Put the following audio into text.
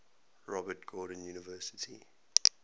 robert gordon university